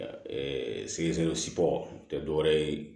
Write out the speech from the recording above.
tɛ dɔwɛrɛ ye